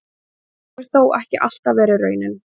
Þessi hefur þó ekki alltaf verið raunin.